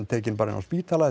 tekin bara inni á spítala